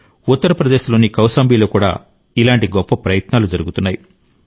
ఉత్తర ప్రదేశ్లోని కౌశాంబిలో కూడా ఇలాంటి గొప్ప ప్రయత్నాలు జరుగుతున్నాయి